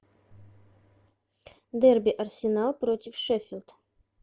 дерби арсенал против шеффилд